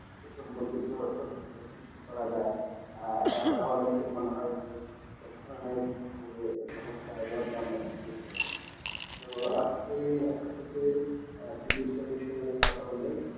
এই সম্পকে সচেতন সৃষ্টি করা যায় আর তাহলে মনে হয় যে এই ধরনে যে সমস্যা তো আজকে আপনার সাথে বিষয় বিষয় কথা বলে